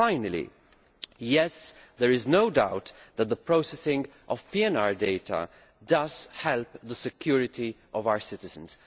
Lastly, yes, there is no doubt that the processing of PNR data helps the security of our citizens.